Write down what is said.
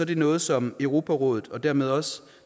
det noget som europarådet og dermed også